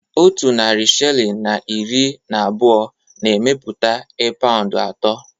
Otu narị shilling na iri na abụọ na-emepụta e paụnd atọ